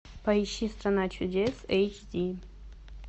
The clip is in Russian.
поищи страна чудес эйч ди